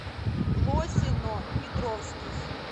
лосино петровский